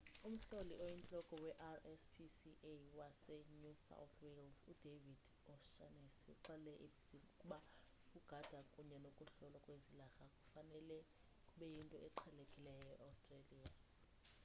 umhloli oyintloko we-rspca wase new south wales udavid o'shannessy uxelele i-abc ukuba ukugada kunye nokuhlolwa kwezilarha kufanele kube yinto eqhelekileyo e-australia